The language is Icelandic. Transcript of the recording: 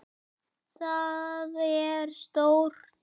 Það er stórt.